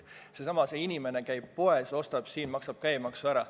Seesama inimene käib poes, ostab siin, maksab käibemaksu ära.